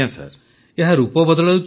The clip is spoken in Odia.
ପ୍ରଧାନମନ୍ତ୍ରୀ ଏହା ରୂପ ବଦଳାଉଛି